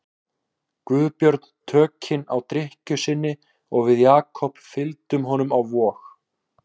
Guðbjörn tökin á drykkju sinni og við Jakob fylgdum honum á Vog.